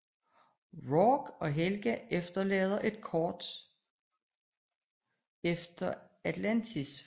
Rourke og Helga forlader kort efter Atlantis